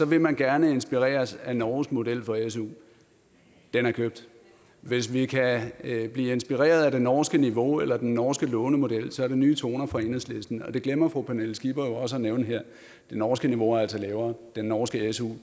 vil man gerne inspireres af norges model for su den er købt hvis vi kan blive inspireret af det norske niveau eller den norske lånemodel er det nye toner fra enhedslisten og det glemmer fru pernille skipper jo også at nævne her det norske niveau er altså lavere den norske su